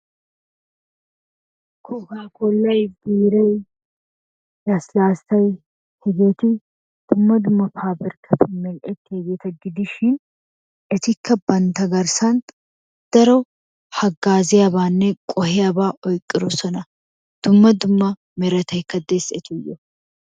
Kookakollay, biiray, lassilassay hegeeti dumma dumma pabirkkatun mel''ettiyaageeta gidishin etikka bantta garssan daro hagaazziyaabanne qohiyaaba oyqqiroosona. Dumma dumma meretaykka dees etuyyo.